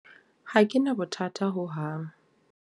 Ha ke na bothata ho hang.